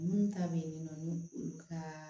Minnu ta bɛ yen nɔ ni olu ka